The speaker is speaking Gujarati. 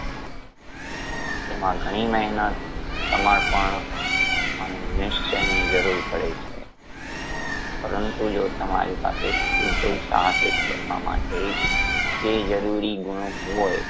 તેમાં ઘણી મહેનત સમર્પણ અને નિશ્ચયની જરૂર પડે છે પરંતુ જો તમારી પાસે ઉધ્યોગ સાહસિક બનવા માટે એ જરૂરી ગુણો હોય